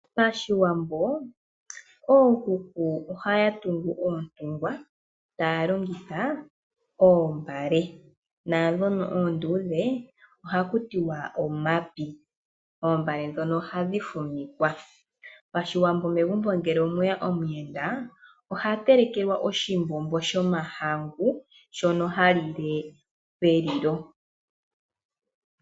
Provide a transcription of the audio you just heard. Pashiwambo ookuku ohaya tungu oontungwa taya longitha oombale, naandhono oonduudhe ohakutiwa omapi oombale ndhono ohadhi fumikwa. Megumbo ngele omweya omiyenda oha telekelwa oshimbombo shomahangu shono ha lile pelilo .